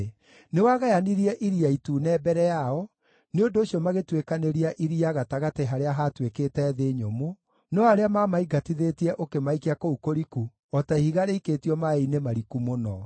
Nĩwagayanirie Iria Itune mbere yao, nĩ ũndũ ũcio magĩtuĩkanĩria iria gatagatĩ harĩa haatuĩkĩte thĩ nyũmũ, no arĩa maamaingatithĩtie ũkĩmaikia kũu kũriku o ta ihiga rĩikĩtio maaĩ-inĩ mariku mũno.